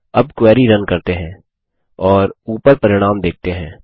अब query run करते हैं और ऊपर परिणाम देखते है